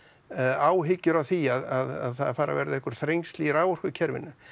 áhyggjur af því að það fari að verða einhver þrengsli í raforkukerfinu